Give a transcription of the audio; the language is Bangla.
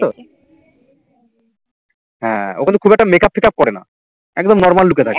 হ্যাঁ ও কিন্তু খুব একটা makeup ফেকাপ করে না একদম normal look এ থাকে